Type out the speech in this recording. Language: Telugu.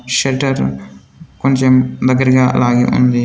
షట్టర్ కొంచెం దగ్గరగా లాగి ఉంది.